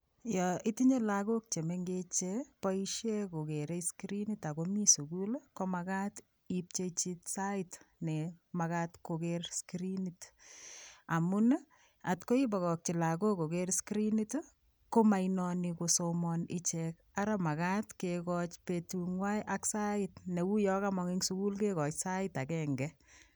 Yo itinye lagok chengech cheboishe kokerei skirinit akomi sukul, komakat ipchechi sait nemagat koker skirinit. Amun atkoi ibokokchi lagok kpker skrinit komainoni kosmon ichek. Ara makat kekoch betung'wai ak sait neuyo kamon'g eng sukul kekoch sait agenge.